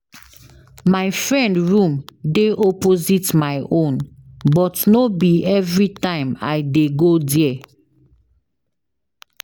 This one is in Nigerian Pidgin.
My friend room dey opposite my own but no be everytime I dey go there.